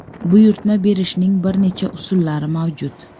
Buyurtma berishning bir necha usullari mavjud.